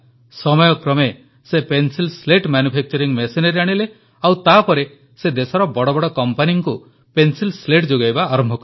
ସମୟକ୍ରମେ ସେ pencil slate manufacturing machinery ଆଣିଲେ ଓ ତାପରେ ସେ ଦେଶର ବଡ଼ ବଡ଼ କମ୍ପାନୀକୁ ପେନ୍ସିଲ Slateଯୋଗାଇବା ଆରମ୍ଭ କଲେ